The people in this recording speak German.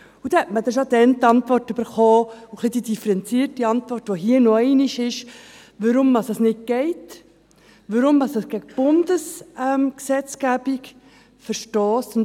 Man erhielt bereits damals die differenzierte Antwort, weshalb das nicht geht und weshalb es gegen die Gesetzgebung des Bundes verstösst.